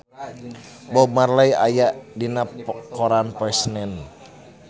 Bob Marley aya dina koran poe Senen